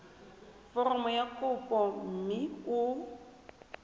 foromo ya kopo mme o